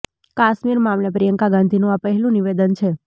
કાશ્મીર મામલે પ્રિયંકા ગાંધીનું આ પહેલું નિવેદન છે